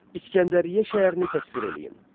İsgəndəriyyə şəhərini təsvir edin.